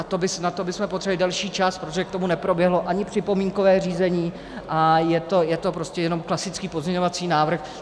A na to bychom potřebovali delší čas, protože k tomu neproběhlo ani připomínkové řízení a je to prostě jenom klasický pozměňovací návrh.